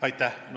Aitäh!